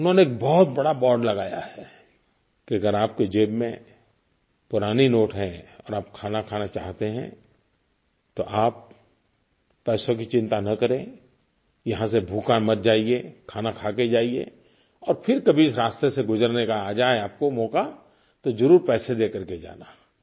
उन्होंने एक बहुत बड़ा बोर्ड लगाया है कि अगर आप की जेब में पुराने नोट हैं और आप खाना खाना चाहते हैं तो आप पैसों की चिंता न करें यहाँ से भूखा मत जाइए खाना खा के ही जाइए और फिर कभी इस रास्ते से गुजरने का आ जाए आपको मौका तो ज़रूर पैसे दे कर के जाना